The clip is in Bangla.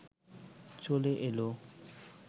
চলে এলো